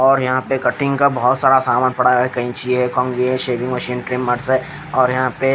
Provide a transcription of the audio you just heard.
और यहां पे कटिंग का बहोत सारा सामान पड़ा है कैंची है कंधी है शेविंग मशीन ट्रिमर्स है और यहां पे--